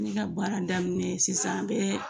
Ne ka baara daminɛ sisan a bɛɛ